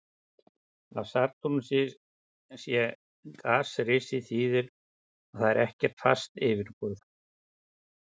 Að Satúrnus sé gasrisi þýðir að þar er ekkert fast yfirborð.